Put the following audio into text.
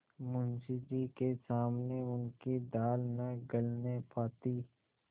मुंशी जी के सामने उनकी दाल न गलने पाती